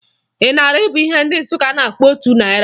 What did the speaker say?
Ịnarị bụ ihe ndị Nsụka na-akpọ otu narị